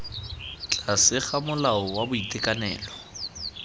tlase ga molao wa boitekanelo